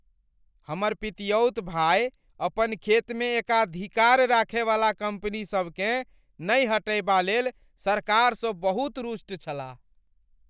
हमर पितियौत भाय अपन खेतमे एकाधिकार राखयवला कम्पनीसभ केँ नहि हटयबालेल सरकारसँ बहुत रुष्ट छलाह।